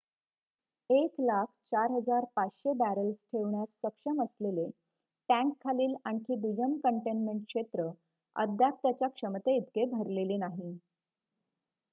104,500 barrels ठेवण्यास सक्षम असलेले टँकखालील आणखी दुय्यम कंटेनमेंट क्षेत्र अद्याप त्याच्या क्षमते इतके भरलेले नाही